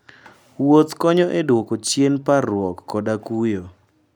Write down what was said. Wuoth konyo e dwoko chien parruok koda kuyo.